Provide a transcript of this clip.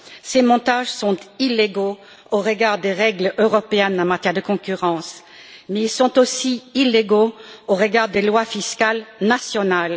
Ces montages sont illégaux au regard des règles européennes en matière de concurrence, mais ils sont aussi illégaux au regard des lois fiscales nationales.